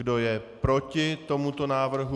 Kdo je proti tomuto návrhu?